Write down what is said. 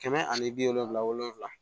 Kɛmɛ ani bi wolonwula wolonwula